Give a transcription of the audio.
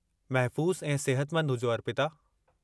महफ़ूज़ु ऐं सेहतिमंदु हुजो, अर्पिता।